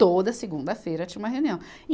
Toda segunda-feira tinha uma reunião.